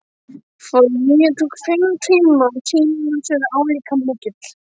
Flugið tók fimm tíma og tímamismunurinn er álíka mikill